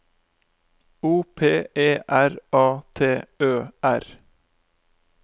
O P E R A T Ø R